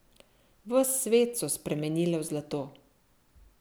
Ves svet so spremenile v zlato.